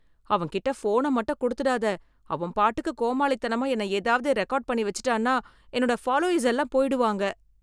அவன் கிட்ட ஃபோன மட்டும் கொடுத்துடாத. அவன் பாட்டுக்கு கோமாளித்தனமா என்ன ஏதாவது ரெகார்ட் பண்ணி வச்சுட்டான்னா, என்னோட ஃபாலோயர்ஸ் எல்லாம் போயிடுவாங்க.